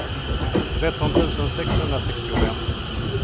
tretton tusen sexhundrasextiofem